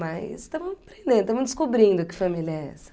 Mas estamos treinando, estamos descobrindo que família é essa.